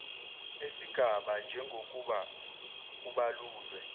esingaba njengokuba kubalulwe